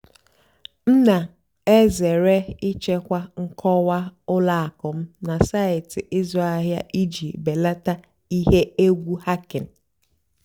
m nà-èzèré ị́chèkwá nkọ́wá ùlọ àkụ́ m nà sáịtị́ ị́zụ́ àhìá ìjì bèlátá íhé ègwu hàckìng.